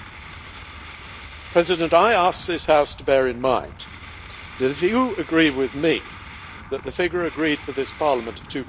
Mr President, I ask this House to bear in mind that, if you agree with me that the figure agreed for this Parliament of